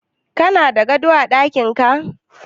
Kana da gado a daƙinka?